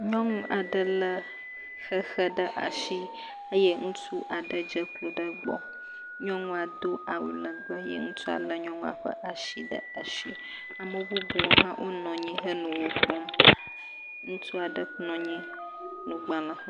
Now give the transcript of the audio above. Nyɔnu aɖe lé xexe ɖe asi eye ŋutsu aɖe dze klo ɖe egbɔ. Nyɔnua do awu legbe eye ŋutsua lé nyɔnua ƒe asi ɖe asi. Ame bubuwo hã wonɔ anyi henɔ wo kpɔm, ŋutsu aɖe nɔ anyi nɔ agblẽ xlẽ…